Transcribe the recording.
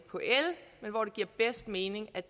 en enkelt